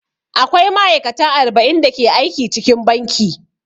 Akwai ma'aikata arba'in da ke aiki cikin banki.